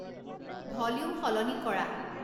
volume সলনি কৰা